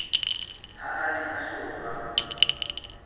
ha a ne a hlolwa